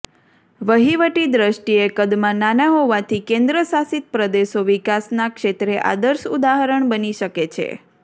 વહીવટી દ્રષ્ટિએ કદમાં નાના હોવાથી કેન્દ્રશાસિત પ્રદેશો વિકાસના ક્ષેત્રે આદર્શ ઉદાહરણ બની શકે છે